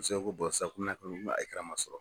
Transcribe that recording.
Muso ko sisan komi n'a man sɔn.